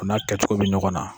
o n'a kɛcogo bi ɲɔgɔn na.